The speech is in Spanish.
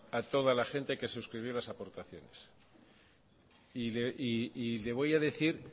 a toda la gente que suscribió las aportaciones y le voy a decir